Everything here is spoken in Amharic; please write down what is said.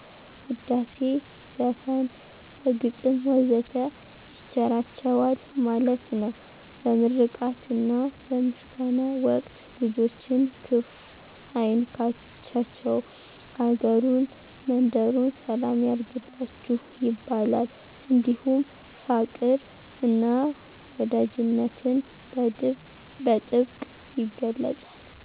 ውዳሴ፣ ዘፈን፣ በግጥም ወዘተ ይቸራቸዋል ማለት ነው። በምርቃትና በምስጋና ወቅት ልጆችን ክፍ አይንካቸቸው፤ አገሩን መንደሩን ሰላም ያርግላችሁ ይባላል። እንዲሁም ፋቅር እና ወዳጅነትን በጥብቅ ይገለፃል።